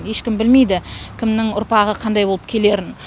ешкім білмейді кімнің ұрпағы қандай болып келерін